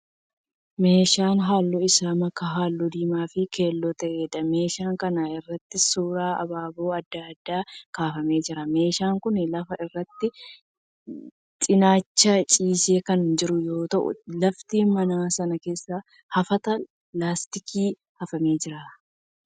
Meeshaa halluu isaa makaa halluu diimaa fi keelloo ta'eedha. Meeshaan kana irratti suuraan abaaboo adda addaa kaafamee jira. Meeshaan kun lafa irratti cinaachaan ciisee kan jiru yoo ta'u lafti mana sana keessaa hafata laastikiin hafamee jira.